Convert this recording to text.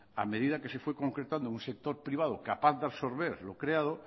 a medida que se fue concretando un sector privado capaz de absorber lo creado